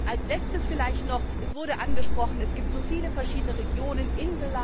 gibt. Als letztes vielleicht noch Es wurde angesprochen, dass es so viele verschiedene Regionen